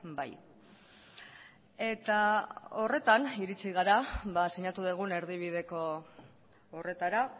bai eta horretan iritsi gara sinatu dugun erdibideko horretara